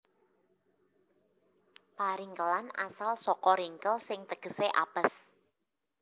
Paringkelan asal saka ringkel sing tegesé apes